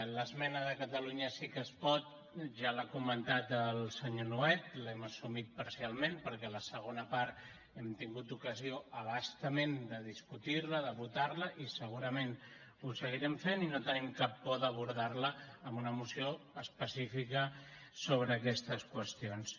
l’esmena de catalunya sí que es pot ja l’ha comentada el senyor nuet l’hem assumida parcialment perquè la segona part hem tingut ocasió a bastament de discutir la de votar la i segurament ho seguirem fent i no tenim cap por d’abordar la amb una moció específica sobre aquestes qüestions